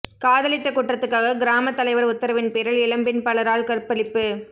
காதலித்த குற்றத்துக்காக கிராம தலைவர் உத்தரவின் பேரில் இளம்பெண் பலரால் கற்பழிப்பு